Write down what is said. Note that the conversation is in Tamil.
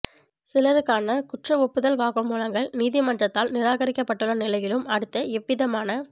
சிலருக்கான குற்றஒப்புதல் வாக்கு மூலங்கள் நீதிமன்றத்தால் நிரகாரிக்கப்பட்டுள்ள நிலையிலும் அடுத்து எவ்விதமான